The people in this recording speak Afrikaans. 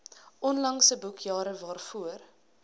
onlangse boekjare waarvoor